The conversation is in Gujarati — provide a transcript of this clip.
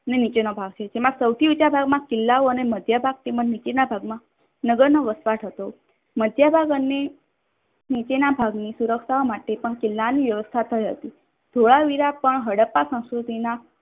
અને નીચેનો ભાગ છે. જેમાં સૌથી ઉંચા ભાગ માં કિલ્લો અને માધ્ય ભાગ અને તેમજ નીચેના ભાગ માં નગરનો વસવાટ હતો. મધ્યભાગ અને નીચેના ભાગની સુરક્ષાઓ માટે પણ કિલ્લાની વ્યવસ્થા થઈ હતી. ધોળાવીરા પણ હડપ્પા સંસ્કૃતિના